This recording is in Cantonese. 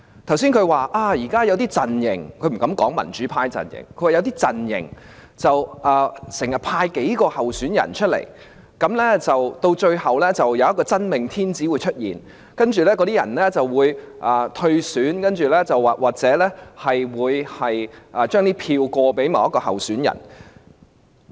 他剛才說現在有些陣營——他不敢說是民主派陣營——經常派出數名候選人，到最後便會出現一位"真命天子"，而其他人則會退選或把選票轉移給該名候選人。